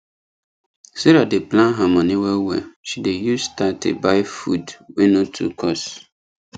sarah dey plan her money well well she dey use thirty buy food wey no too cost